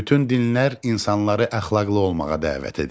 Bütün dinlər insanları əxlaqlı olmağa dəvət edir.